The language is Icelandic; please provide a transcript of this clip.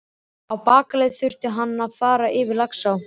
Á bakaleið þurfti hann að fara yfir Laxá.